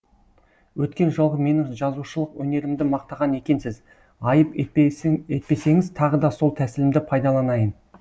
өткен жолғы менің жазушылық өнерімді мақтаған екенсіз айып етпесеңіз тағы да сол тәсілімді пайдаланайын